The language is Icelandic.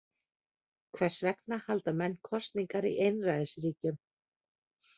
Hvers vegna halda menn kosningar í einræðisríkjum?